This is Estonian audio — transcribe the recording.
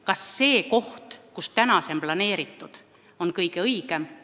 Kas see koht, kuhu see täna on planeeritud, on kõige õigem?